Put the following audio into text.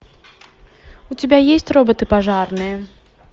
у тебя есть роботы пожарные